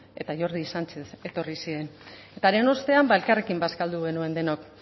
eta jordi sánchez etorri ziren eta haren ostean elkarrekin bazkaldu genuen denok